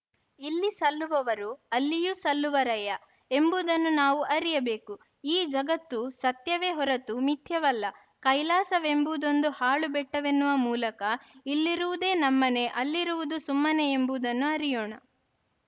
ಇಲ್ಲಿ ಸಲ್ಲುವವರು ಅಲ್ಲಿಯೂ ಸಲ್ಲುವರಯ್ಯ ಎಂಬುದನ್ನು ನಾವು ಅರಿಯಬೇಕು ಈ ಜಗತ್ತು ಸತ್ಯವೇ ಹೊರತು ಮಿಥ್ಯವಲ್ಲ ಕೈಲಾಸವೆಂಬುದೊಂದು ಹಾಳು ಬೆಟ್ಟವೆನ್ನುವ ಮೂಲಕ ಇಲ್ಲಿರುವುದೇ ನಮ್ಮನೆ ಅಲ್ಲಿರುವುದು ಸುಮ್ಮನೆಯೆಂಬದನ್ನು ಅರಿಯೋಣ